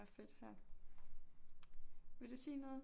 Der er fedt her vil du sige noget